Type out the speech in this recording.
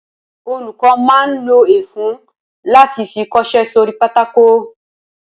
Olùkọ́ máa ń lo ẹfun láti fi kọṣẹ́ sórí pátákó